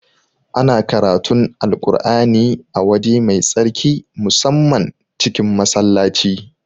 Ana karatun Alƙur'ani a waje mai tsarki musamman cikin Masallaci